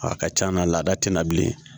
A ka c'a na laada tenna bilen